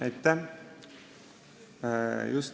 Aitäh!